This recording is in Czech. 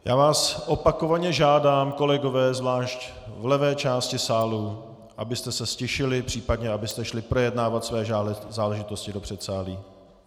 Já vás opakovaně žádám, kolegové, zvlášť v levé části sálu, abyste se ztišili, případně abyste šli projednávat své záležitosti do předsálí.